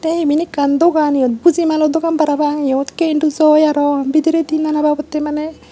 te iben ekkan dogan yot bujimlo dogan parapang yot arow bidiredi nana babottey maney.